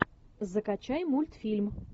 закачай мультфильм